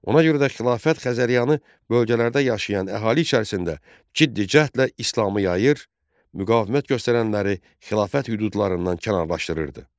Ona görə də xilafət Xəzəryanı bölgələrdə yaşayan əhali içərisində ciddi cəhdlə İslamı yayır, müqavimət göstərənləri xilafət hüdudlarından kənarlaşdırırdı.